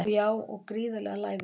Já og gríðarlega lævís